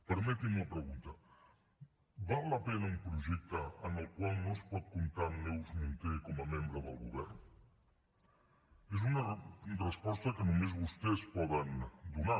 permeti’m la pregunta val la pena un projecte en el qual no es pot comptar amb neus munté com a membre del govern és una resposta que només vostès poden donar